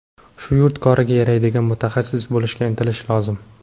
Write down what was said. shu yurt koriga yaraydigan mutaxassis bo‘lishga intilishi lozim.